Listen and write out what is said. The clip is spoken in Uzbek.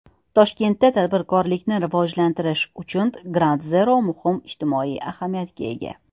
Toshkentda tadbirkorlikni rivojlantirish uchun Groundzero muhim ijtimoiy ahamiyatga ega.